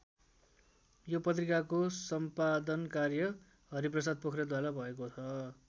यो पत्रिकाको सम्पादन कार्य हरिप्रसाद पोख्रेलद्वारा भएको छ।